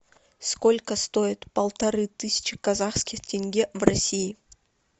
сколько стоит полторы тысячи казахских тенге в россии